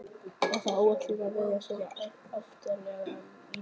Var það áætlunin að verjast svona aftarlega í leiknum?